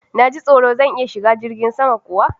Na ji tsoro! Zan iya shiga jirgin sama kuwa?